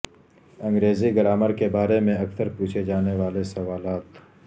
انگریزی گرامر کے بارے میں اکثر پوچھے جانے والے سوالات